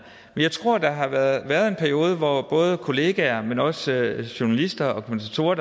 jeg tror der har været en periode hvor både kollegaer men også journalister og kommentatorer